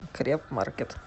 крепмаркет